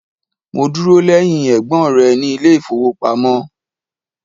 Mo dúrọ̀ lẹ̀hìn ẹ̀gbọn rẹ ni ilẹ̀ ifowopamọ̀.